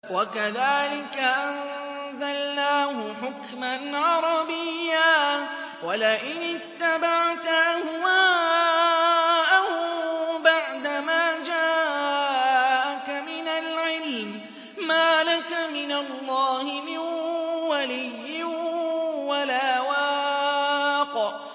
وَكَذَٰلِكَ أَنزَلْنَاهُ حُكْمًا عَرَبِيًّا ۚ وَلَئِنِ اتَّبَعْتَ أَهْوَاءَهُم بَعْدَمَا جَاءَكَ مِنَ الْعِلْمِ مَا لَكَ مِنَ اللَّهِ مِن وَلِيٍّ وَلَا وَاقٍ